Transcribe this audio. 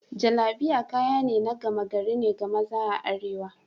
Jallabiya kaya na gama gari ne ga maza a arewa.